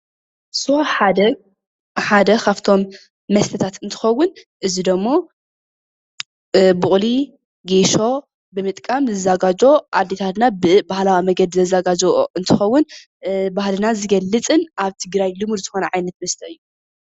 ስዋ ሓደ ካብቶም መስተታት ሓደ እንትከውን ብብቁል ጌሶ ኣዴታትና ዘዘጋጅውኦ እንትከውን ባህልና ዝገልፅ ኣብ ትግራይ ልሙድ ዝኮነ መስተ እዩ።